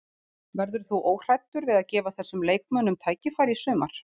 Verður þú óhræddur við að gefa þessum leikmönnum tækifæri í sumar?